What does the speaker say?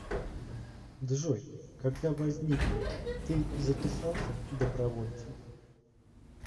джой когда возник ты записался добровольцем